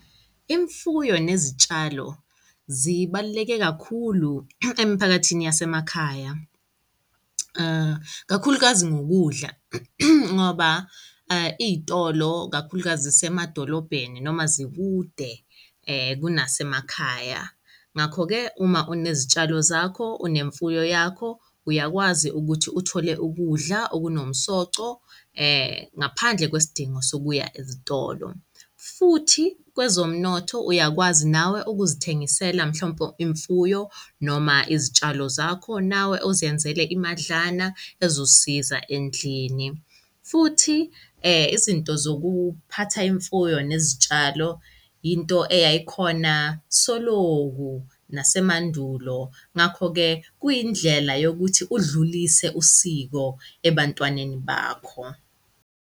Imfuyo nezitshalo zibaluleke kakhulu emiphakathini yasemakhaya, kakhulukazi ngokudla, ngoba iy'tolo kakhulukazi zisemadolobheni noma zikude kunasemakhaya. Ngakho-ke uma unezitshalo zakho unemfuyo yakho uyakwazi ukuthi uthole ukudla okunomsoco ngaphandle kwesidingo sokuya ezitolo. Futhi kwezomnotho uyakwazi nawe ukuzithengisela mhlawumpe imfuyo noma izitshalo zakho nawe uzenzele imadlana ezosiza endlini. Futhi izinto zokuphatha imfuyo nezitshalo, into eyayikhona soloku nasemandulo. Ngakho-ke kuyindlela yokuthi udlulise usiko ebantwaneni bakho.